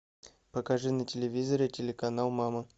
покажи на телевизоре телеканал мама